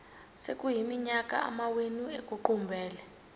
sekuyiminyaka amawenu ekuqumbele